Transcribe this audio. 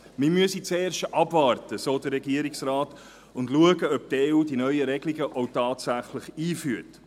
Man müsse zuerst abwarten und schauen, so der Regierungsrat, ob die EU diese neuen Regelungen auch tatsächlich einführt.